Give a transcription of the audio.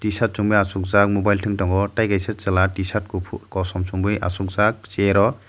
tshirt chumui achuk jak mobile tung tongo tai kaisa chwla tshirt kufur kosom chumui achukjak chair o.